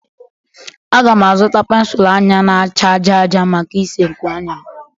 A ga m azụta pensụl anya na-acha aja aja maka isee nkuanya m